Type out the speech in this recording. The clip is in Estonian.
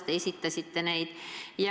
Te esitlesite oma mõtteid selle kohta.